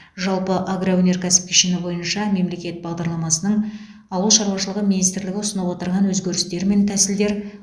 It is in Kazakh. жалпы агроөнеркәсіп кешені бойынша мемлекет бағдарламасының ауыл шаруашылығы министрлігі ұсынып отырған өзгерістер мен тәсілдер